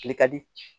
Tile ka di